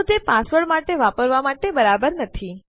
તો તે પાસવર્ડ માટે વાપરવા માટે બરાબર નથી